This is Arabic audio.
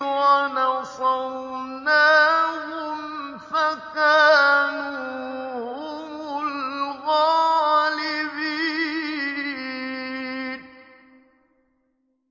وَنَصَرْنَاهُمْ فَكَانُوا هُمُ الْغَالِبِينَ